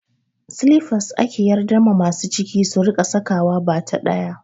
Silifas ake yardar ma masu ciki su rika saka wa, bata ɗaya